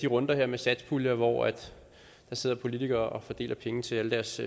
runder med satspuljer hvor der sidder politikere og fordeler penge til alle deres